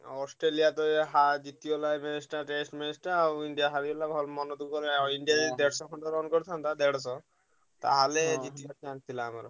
Australia ରେ ହା ଜିତିଗଲା ଏବେ test match ଟା ଆଉ ଇଣ୍ଡିଆ ହାରିଗଲା ଭାରି ମନ ଦୁଃଖ ହେଲା ଇଣ୍ଡିଆ ଯଦି ଦେଢଶହ ଖଣ୍ଡେ run କରିଥାନ୍ତା ଦେଢଶହ ତାହେଲେ ଜିତି ଥିଲା ଆମର।